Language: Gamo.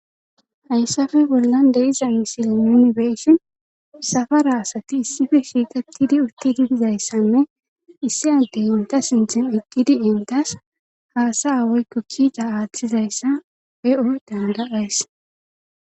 Hayssafe bollan deiza misili minibeeshin safara asati issife shiikettidi uttididizayssanne issi addey enta sinthin eqqidi entas haasa awoykko kiita aaththizayssa eo danda7ays.